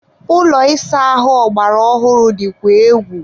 ụlọ ịsa ahụ ọgbara ọhụrụ dịkwa egwu